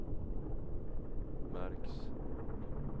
märks